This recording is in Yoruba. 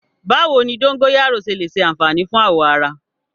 Báwo ni dógóyárò ṣe lè ṣe àfààní fún awọ ara?